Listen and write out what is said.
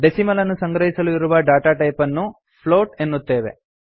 decimal ಅನ್ನು ಸಂಗ್ರಹಿಸಲು ಇರುವ ಡಾಟಾ ಟೈಪ್ ಅನ್ನು ಫ್ಲೋಟ್ ಎನ್ನುತ್ತೇವೆ